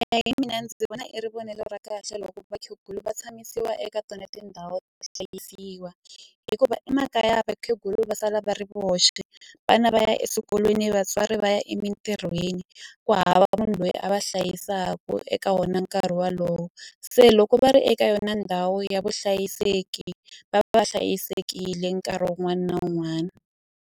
hi mina ndzi vona i ri vonelo ra kahle loko vakhegula va tshamisiwa eka tona tindhawu hikuva emakaya vakhegula va sala va ri voxe vana va ya eswikolweni vatswari va ya emitirhweni ku hava munhu loyi a va hlayisaku eka wona nkarhi walowo se loko va ri eka yona ndhawu ya vuhlayiseki va va hlayisekile nkarhi wun'wani na wun'wani.